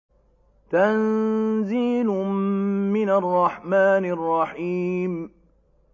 تَنزِيلٌ مِّنَ الرَّحْمَٰنِ الرَّحِيمِ